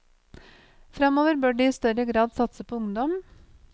Fremover bør de i større grad satse på ungdom.